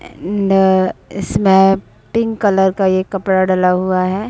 Pink colour का ये कपड़ा डला हुआ है।